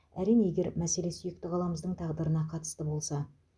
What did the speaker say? әрине егер мәселе сүйікті қаламыздың тағдырына қатысты болса